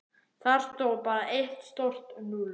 Þar stóð bara eitt stórt núll.